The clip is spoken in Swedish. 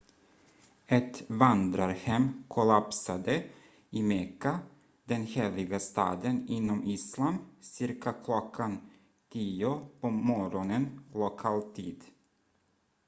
ett vandrarhem kollapsade i mekka den heliga staden inom islam cirka klockan 10 på morgonen lokal tid